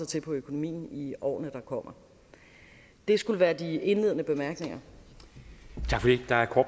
til økonomien i årene der kommer det skulle være de indledende bemærkninger